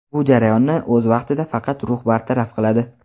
Bu jarayonni o‘z vaqtida faqat rux bartaraf qiladi.